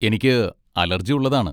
എനിക്ക് അലർജി ഉള്ളതാണ്.